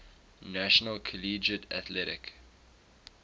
national collegiate athletic